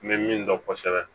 N bɛ min dɔn kosɛbɛ